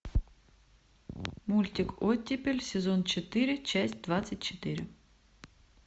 мультик оттепель сезон четыре часть двадцать четыре